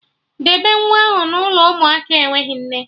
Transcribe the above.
Debe nwa ahụ n'ụlọ ụmụaka enweghị nne